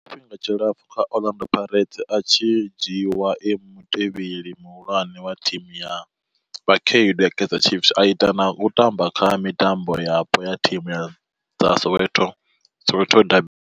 Tshifhinga tshilapfhu kha Orlando Pirates, a tshi dzhiiwa e mutevheli muhulwane wa thimu ya vhakhaedu ya Kaizer Chiefs, a ita na u tamba kha mitambo yapo ya thimu dza Soweto Soweto.